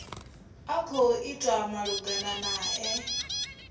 a khou itwa malugana nae